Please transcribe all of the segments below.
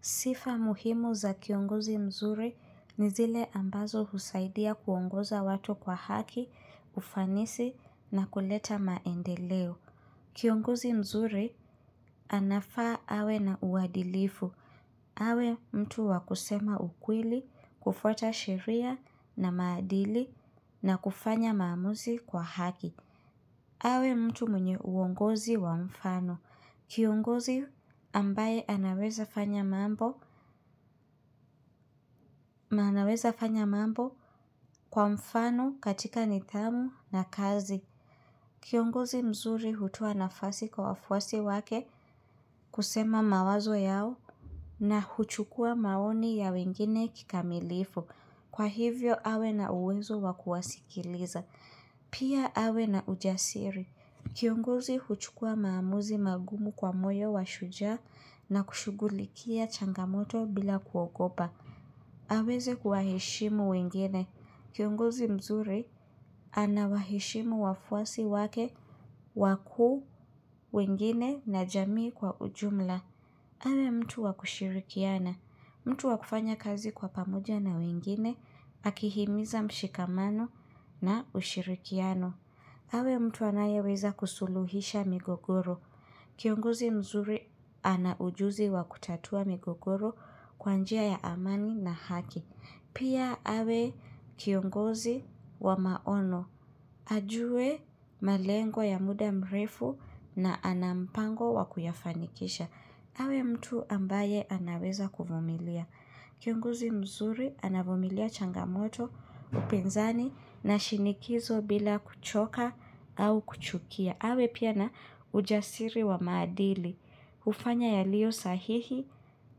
Sifa muhimu za kiongozi mzuri ni zile ambazo husaidia kuongoza watu kwa haki, ufanisi na kuleta maendeleo. Kiongozi mzuri anafaa awe na uadilifu. Awe mtu wakusema ukweli, kufuata sheria na maadili na kufanya maamuzi kwa haki. Awe mtu mwenye uongozi wa mfano. Kiongozi ambaye anaweza fanya mambo fanya mambo kwa mfano katika nithamu na kazi. Kiongozi mzuri hutoa nafasi kwa wafuasi wake kusema mawazo yao na huchukua maoni ya wengine kikamilifu. Kwa hivyo awe na uwezo wakuwasikiliza. Pia awe na ujasiri. Kiongozi huchukua maamuzi magumu kwa moyo wa shujaa na kushughulikia changamoto bila kuogopa. Aweze kuwaheshimu wengine. Kiongozi mzuri anawaheshimu wafuasi wake wakuu wengine na jamii kwa ujumla. Awe mtu wakushirikiana. Mtu wakufanya kazi kwa pamoja na wengine, akihimiza mshikamano na ushirikiano. Awe mtu anayeweza kusuluhisha migogoro. Kiongozi mzuri ana ujuzi wa kutatua migogoro kwanjia ya amani na haki. Pia awe kiongozi wa maono. Ajue malengo ya muda mrefu na anampango wa kuyafanikisha. Awe mtu ambaye anaweza kuvumilia. Kiongozi mzuri anavumilia changamoto upinzani na shinikizo bila kuchoka au kuchukia. Awe pia na ujasiri wa maadili. Ufanya yalio sahihi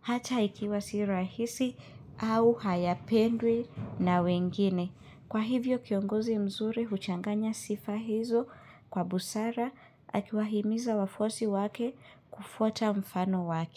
hata ikiwa sirahisi au hayapendwi na wengine. Kwa hivyo kiongozi mzuri huchanganya sifa hizo kwa busara akiwahimiza wafuasi wake kufuata mfano wake.